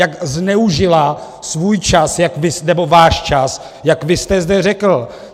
Jak zneužila svůj čas nebo váš čas, jak vy jste zde řekl.